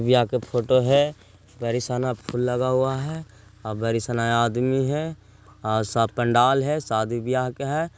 यहाँ का फोटो घनी बरी सारा सना फुल लगा है और घनी बरी सारा सना आदमी है सब पंडाल झे साडी भी आ है।